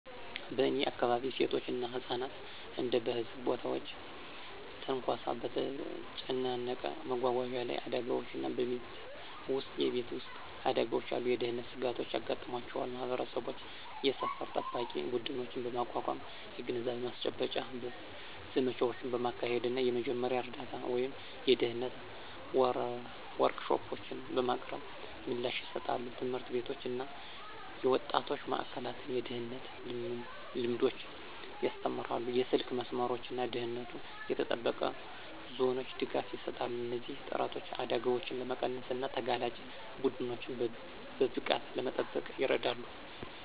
በእኔ አካባቢ፣ ሴቶች እና ህጻናት እንደ በህዝብ ቦታዎች ትንኮሳ፣ በተጨናነቀ መጓጓዣ ላይ አደጋዎች እና በቤት ውስጥ የቤት ውስጥ አደጋዎች ያሉ የደህንነት ስጋቶች ያጋጥሟቸዋል። ማህበረሰቦች የሰፈር ጠባቂ ቡድኖችን በማቋቋም፣ የግንዛቤ ማስጨበጫ ዘመቻዎችን በማካሄድ እና የመጀመሪያ እርዳታ ወይም የደህንነት ወርክሾፖችን በማቅረብ ምላሽ ይሰጣሉ። ትምህርት ቤቶች እና የወጣቶች ማእከላት የደህንነት ልምዶችን ያስተምራሉ, የስልክ መስመሮች እና ደህንነቱ የተጠበቀ ዞኖች ድጋፍ ይሰጣሉ. እነዚህ ጥረቶች አደጋዎችን ለመቀነስ እና ተጋላጭ ቡድኖችን በብቃት ለመጠበቅ ይረዳሉ።